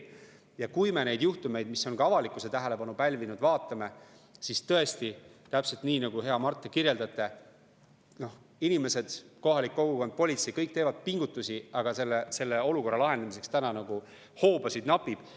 Ja kui me neid juhtumeid, mis on ka avalikkuse tähelepanu pälvinud, vaatame, siis tõesti, nii nagu te, hea Mart, kirjeldasite, inimesed, kohalik kogukond, politsei – kõik teevad pingutusi, aga olukorra lahendamiseks hoobasid napib.